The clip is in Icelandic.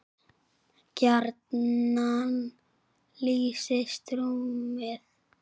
gjarnan lýsist rúmið